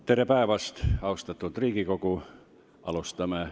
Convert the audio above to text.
Tere päevast, austatud Riigikogu!